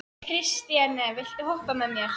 Kristine, viltu hoppa með mér?